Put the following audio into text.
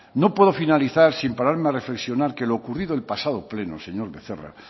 no puedo finalizar sin pararme a reflexionar que lo ocurrido el pasado pleno señor becerra